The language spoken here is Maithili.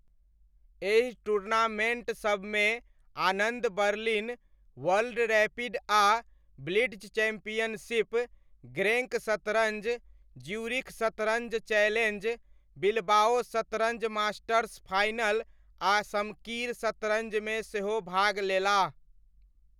एहि टूर्नामेण्ट सबमे आनन्द बर्लिन वर्ल्ड रैपिड आ ब्लिट्ज चैंपियनशिप, ग्रेंङ्क शतरञ्ज, ज्यूरिख शतरञ्ज चैलेञ्ज, बिलबाओ शतरञ्ज मास्टर्स फाइनल, आ शमकीर शतरञ्जमे सेहो भाग लेलाह।